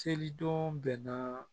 Selidenw bɛnna